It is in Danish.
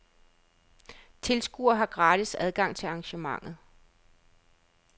Tilskuere har gratis adgang til arrangementet.